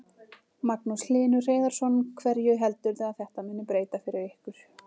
Magnús Hlynur Hreiðarsson: Hverju heldurðu að þetta muni breyta fyrir ykkur?